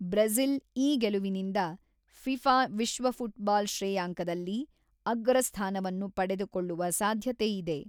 Brazil ಈ ಗೆಲುವಿನಿಂದ FIFA ವಿಶ್ವ ಫುಟ್ಬಾಲ್ ಶ್ರೇಯಾಂಕದಲ್ಲಿ ಅಗ್ರ ಸ್ಥಾನವನ್ನು ಪಡೆದುಕೊಳ್ಳುವ ಸಾಧ್ಯತೆಯಿದೆ.